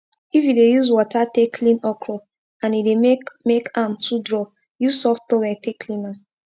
if u dey use wata take clean okro and e dey make make am too draw use soft towel take clean am